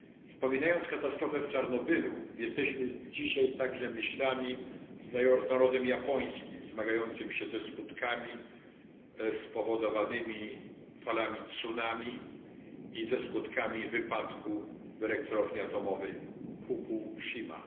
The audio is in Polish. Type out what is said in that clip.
Wspominając katastrofę z Czarnobylu jesteśmy dzisiaj także myślami z narodem japońskim zmagającym się ze skutkami spowodowanymi falami tsunami i ze skutkami wypadku w elektrowni atomowej Fukushima.